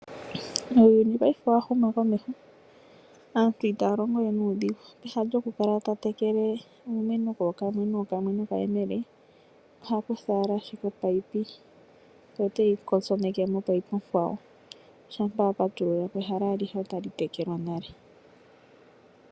Uuyuni paife owa huma komeho aantu itaya longo we nuudhingu pehala lyoku kala to tekele iimeno kookamwe nookamwe nokayemele ohaya kutha ashi opipe ye oteyi kotsoneke mopipe onkawo. Shampa wa patulula ko ehala alihe otali tekelwa nale.